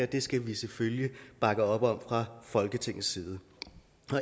det skal vi selvfølgelig bakke op om fra folketingets side